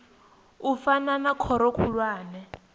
u fana na khoro khulwane